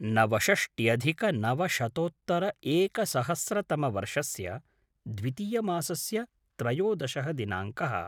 नवषष्ट्यधिकनवशतोत्तर एकसहस्रतमवर्षस्य द्वितीयमासस्य त्रयोदशः दिनाङ्कः